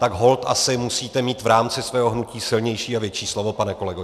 Tak holt asi musíte mít v rámci svého hnutí silnější a větší slovo, pane kolego.